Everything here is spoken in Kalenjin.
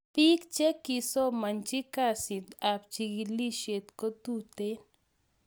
pik che kisomachi kazit ab chikilishet kotuten